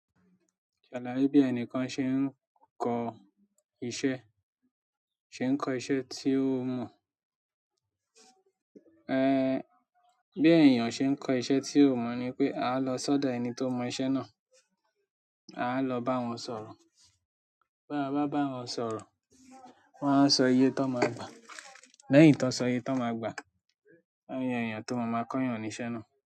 Ṣalaye bí ẹnìkan ṣe n kọ iṣẹ́, ṣe n kọ iṣẹ́ tí ó mọ̀, ẹ́ bí èèyàn ṣe ń kọ́ iṣẹ́ tí ó mò ni pé a lọ sọ́dọ̀ ẹni tó mọ iṣẹ́ náà, a lọ bá wọn sọ̀rọ̀. Ba a bá bá wọn sọ̀rọ̀, wọ́n a sọ iye tó n máa gbà. Lẹ́yìn to n so iye to n maa gba won a yan eeyan to maa ma koyan ni iṣẹ́ na.